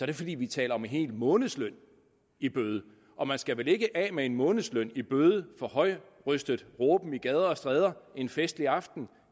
det fordi vi taler om en hel månedsløn i bøde og man skal vel ikke af med en månedsløn i bøde for højrøstet råben på gader og stræder en festlig aften